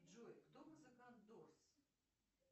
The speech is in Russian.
джой кто музыкант дорс